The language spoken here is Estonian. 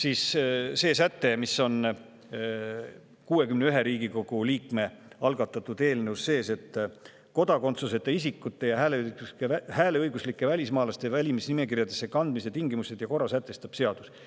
On säte, mis on 61 Riigikogu liikme algatatud eelnõus sees: "Kodakondsuseta isikute ja hääleõiguslike välismaalaste valimisnimekirjadesse kandmise tingimused ja korra sätestab seadus.